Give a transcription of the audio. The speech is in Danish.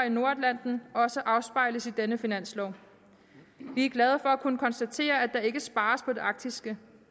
i nordatlanten også afspejles i denne finanslov vi er glade at kunne konstatere at der ikke spares på det arktiske